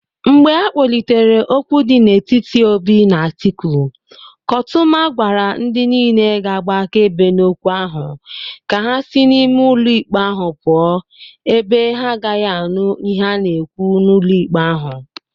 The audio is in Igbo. Mgbe akpolitere okwu di n'etiti Obi na Atiku, kotuma gwara ndi niile ga-agba akaebe n'okwu ahu ka ha si n'ime ulo ikpe ahu puo ebe ha agagi anu ihe a na-ekwu n'ulo ikpe ahu.